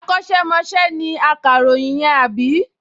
Akọ́ṣẹ́mọṣẹ́ ni akàròyìn yẹn, àbí?